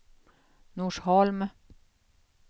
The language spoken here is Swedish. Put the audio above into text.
Norsholm